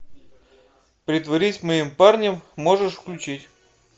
притворись моим парнем можешь включить